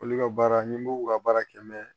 Olu ka baara ni mugu ka baara kɛ